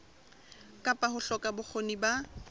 kapa ho hloka bokgoni ba